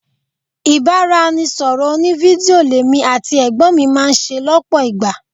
Ibanisoro òní-fídíò l'èmi àti ẹ̀gbọ́n mi máa ń ṣe lọpọ ìgbà.